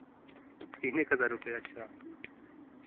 तीन एक हजार रुपये अच्छा